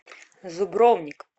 зубровник